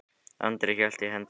Andri hélt í hendina á henni.